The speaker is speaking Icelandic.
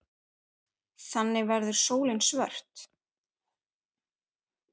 Þannig verður sólin svört.